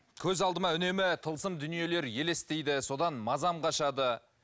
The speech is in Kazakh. көз алдыма үнемі тылсым дүниелер елестейді содан мазам қашады